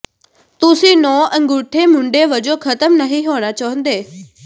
ਤੁਸੀਂ ਨੌਂ ਅੰਗੂਠੇ ਮੁੰਡੇ ਵਜੋਂ ਖਤਮ ਨਹੀਂ ਹੋਣਾ ਚਾਹੁੰਦੇ